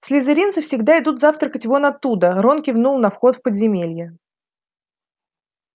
слизеринцы всегда идут завтракать вон оттуда рон кивнул на вход в подземелье